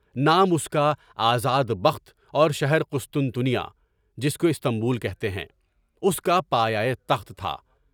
نام اس کا آزاد بخت اور شہر فسطونیہ (جس کو استنبول کہتے ہیں) اس کا پایہ تخت تھا۔